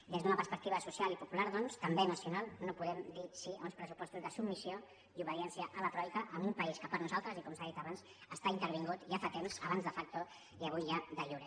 des d’una perspectiva social i popular doncs també nacional no podem dir sí a uns pressupostos de submissió i obediència a la troica en un país que per nosaltres i com s’ha dit abans està intervingut ja fa temps abans de factoavui ja de iure